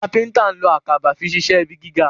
kápẹ́ńtà ló Àkàbà fí ṣiṣe ibí gíga.